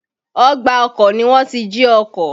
Ọgbà ọkọ̀ ni wọ́n ti jí ọkọ̀.